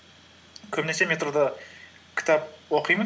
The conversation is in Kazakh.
көбінесе метрода кітап оқимын